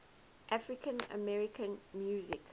african american music